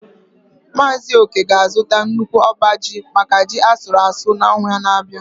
Mazị Oke ga-azụta nnukwu abaa ji maka ji asuru asu n’ọnwa na-abịa.